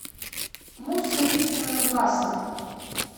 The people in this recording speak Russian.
мусса викторовна власова